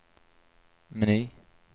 meny